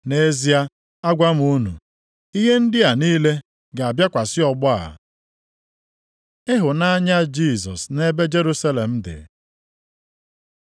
Nʼezie agwa m unu, ihe ndị a niile, ga-abịakwasị ọgbọ a. Ịhụnanya Jisọs nʼebe Jerusalem dị